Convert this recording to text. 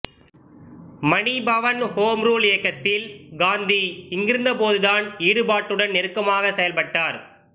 மணி Bhavan home rule இயக்கத்தில் காந்தி இங்கிருந்தபோதுதான் ஈடுபாட்டுடன் நெருக்கமாக செயல்பட்டார்